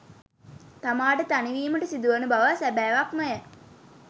තමාට තනිවීමට සිදුවන බව සැබෑවක්මය.